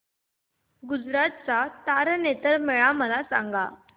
गुजरात चा तारनेतर मेळा मला सांग